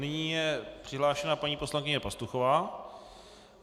Nyní je přihlášena paní poslankyně Pastuchová.